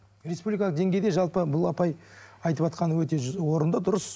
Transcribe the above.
республикалық деңгейде жалпы бұл апай айтыватқаны өте орынды дұрыс